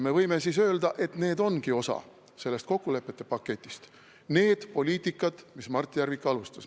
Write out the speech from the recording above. Me võime siis öelda, et need ongi osa sellest kokkulepete paketist, need poliitikad, mida Mart Järvik alustas.